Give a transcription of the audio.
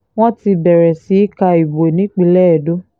wọ́n ti bẹ̀rẹ̀ sí í ka ìbò nípínlẹ̀ edo